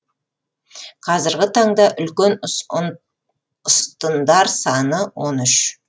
қазіргі таңда үлкен ұстындар саны он үш